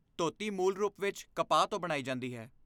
ਧੋਤੀ ਮੂਲ ਰੂਪ ਵਿੱਚ ਕਪਾਹ ਤੋਂ ਬਣਾਈ ਜਾਂਦੀ ਹੈ।